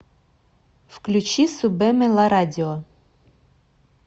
включи субеме ла радио